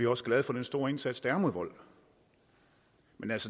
også glade for den store indsats der er mod vold men